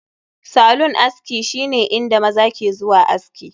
Salon aski shine inda maza ke zuwa aski